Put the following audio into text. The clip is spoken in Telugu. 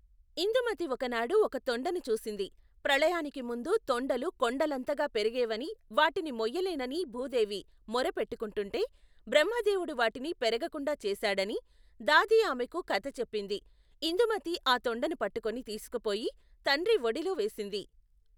ఇందుమతి ఒకనాడు ఒక తొండను చూసింది ప్రళయానికి ముందు తొండలు కొండలంతగా పెరిగేవనీ వాటిని మొయ్యలేనని భూదేవి మొర పెట్టుకుంటే బ్రహ్మదేవుడు వాటిని పెరగకుండా చేశాడనీ, దాది ఆమెకు కధ చెప్పింది ఇందుమతి ఆ తొండను పట్టుకుని తీసుకుపోయి తండ్రి ఒడిలో వేసింది.